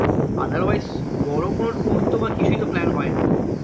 Otherwise বড়ো কোনো tour তো বা কিছুই তো plan হয় না